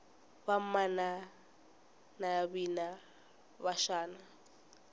vamana navina va xana